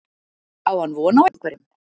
Á hann von á einhverjum?